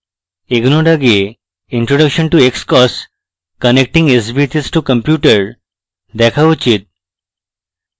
এগোনোর আগে introduction to xcos connecting sbhs to compute দেখা উচিত